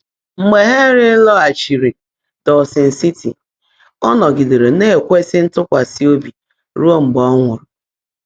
Mgbe Hènry làgháchiírí Dã́wsọn Síti, ọ́ nọ́gídèèré ná-èkwèsị́ ntụ́kwasị́ óbí rúó mgbe ọ́ nwụ́rụ́.